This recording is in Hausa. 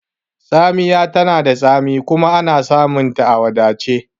Tsamiya tana da tsami kuma ana samunta a wadace